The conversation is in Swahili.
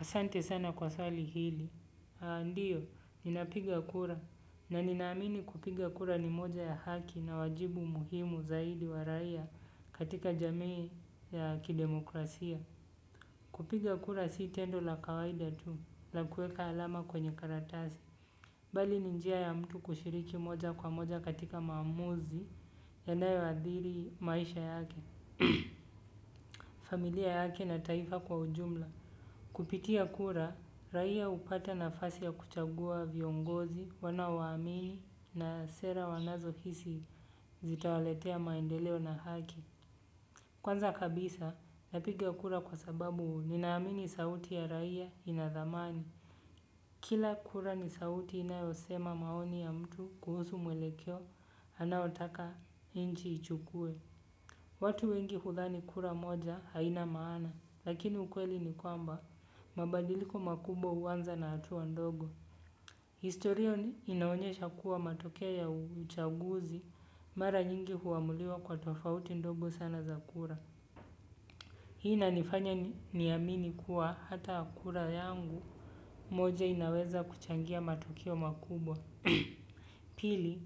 Asante sana kwa swali hili. Ndiyo, ninapiga kura. Na ninaamini kupiga kura ni moja ya haki na wajibu muhimu zaidi wa raia katika jamii ya kidemokrasia. Kupiga kura si tendo la kawaida tu, la kueka alama kwenye karatasi. Bali ni njia ya mtu kushiriki moja kwa moja katika maamuzi yanayoadhiri maisha yake. Familia yake na taifa kwa ujumla. Kupitia kura, raia hupata nafasi ya kuchagua viongozi, wanao waamini na sera wanazo hisi zitawaletea maendeleo na haki. Kwanza kabisa, napigia kura kwa sababu ninaamini sauti ya raia inadhamani. Kila kura ni sauti inayosema maoni ya mtu kuhusu mwelekeo, anaotaka nchi ichukue. Watu wengi hudhani kura moja haina maana, lakini ukweli ni kwamba mabadiliko makubwa huanza na hatua ndogo. Historia inaonyesha kuwa matokeo ya uchaguzi, mara nyingi huamuliwa kwa tofauti ndogo sana za kura. Hii inanifanya niamini kuwa hata kura yangu moja inaweza kuchangia matokeo makubwa. Pili,